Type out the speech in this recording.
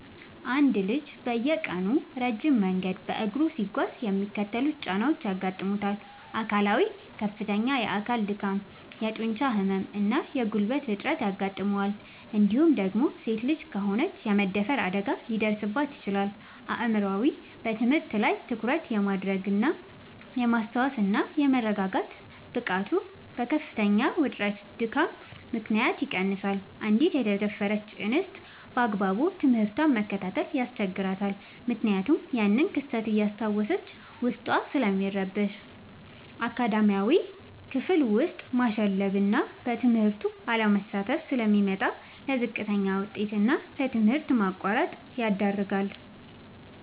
አንድ ልጅ በየቀኑ ረጅም መንገድ በእግሩ ሲጓዝ የሚከተሉት ጫናዎች ያጋጥሙታል፦ አካላዊ፦ ከፍተኛ የአካል ድካም፣ የጡንቻ ህመም እና የጉልበት እጥረት ያጋጥመዋል እንዲሁም ደግሞ ሴት ልጅ ከሆነች የመደፈር አደጋ ሊደርስባት ይችላል። አእምሯዊ፦ በትምህርት ላይ ትኩረት የማድረግ፣ የማስታወስ እና የመረጋጋት ብቃቱ በከፍተኛ ውጥረትና ድካም ምክንያት ይቀንሳል: አንዲት የተደፈረች እንስት ባግባቡ ትምህርቷን መከታተል ያስቸግራታል ምክንያቱም ያንን ክስተት እያስታወሰች ዉስጧ ስለሚረበሽ። አካዳሚያዊ፦ ክፍል ውስጥ ማሸለብና በትምህርቱ አለመሳተፍ ስለሚመጣ: ለዝቅተኛ ውጤት እና ለትምህርት ማቋረጥ ይዳረጋል።